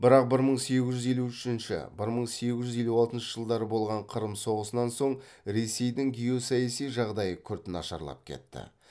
бірақ бір мың сегіз жүз елу үшінші бір мың сегіз жүз елу алтыншы жылдары болған қырым соғысынан соң ресейдің геосаяси жағдайы күрт нашарлап кетті